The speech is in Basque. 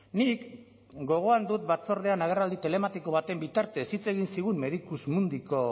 nik gogoan dut batzordean agerraldi telematiko baten bitartez hitz egin zigun medicusmundiko